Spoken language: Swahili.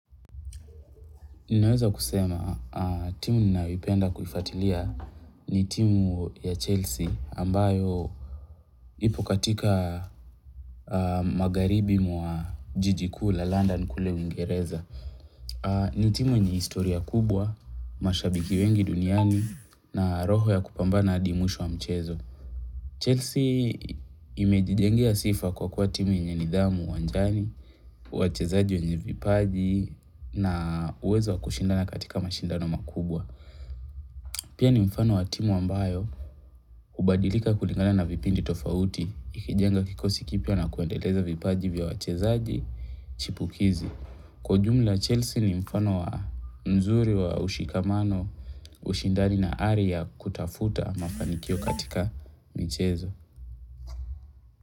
Ninaweza kusema timu nininayoipenda kufuatilia ni timu ya Chelsea ambayo ipo katika magaribi mwa jijikula London kule uingereza. Ni timu yenye historia kubwa, mashabiki wengi duniani na roho ya kupambana hadi mwisho wa mchezo. Chelsea imejijengea sifa kwa kwa timu yenye nidhamu uwanjani, wachezaji wenye vipaji na uwezo wa kushindana katika mashindano makubwa. Pia ni mfano wa timu ambayo hubadilika kulingana na vipindi tofauti, ikijenga kikosi kipya na kuendeleza vipaji vya wachezaji chipukizi. Kwa ujumla Chelsea ni mfano wa nzuri wa ushikamano, ushindani na ari ya kutafuta mafanikio katika michezo.